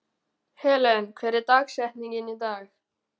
Helen, hver er dagsetningin í dag?